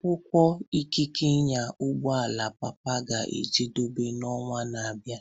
Akwụkwọ ikike ịnya ụgbọ ala papa ga-ejedebe n'ọnwa na-abịa.